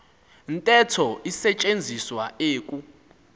ntetho isetyenziswa eku